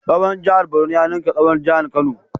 Tsawon jihar Borno ya ninka tsawon jihar Kano.